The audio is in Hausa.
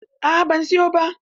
A'a ban siyo ba.